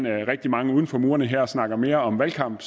rigtig mange uden for murene her snakker mere om valgkamp